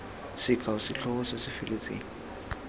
sekao setlhogo se se feletseng